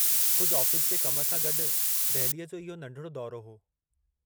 कुझु आफ़ीस जे कम सां गॾु, दहिलीअ जो इहो नंढिड़ो दौरो हो।